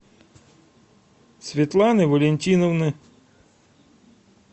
светланы валентиновны